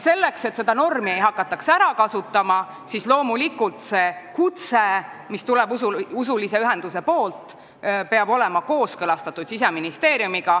Selleks, et seda seadussätet ei hakataks kurjasti ära kasutama, peaks usuühenduse saadetav kutse olema kooskõlastatud Siseministeeriumiga.